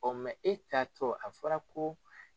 Ɔ e taatɔ a fɔra ko